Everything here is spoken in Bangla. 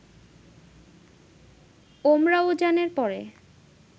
উমরাওজানের পর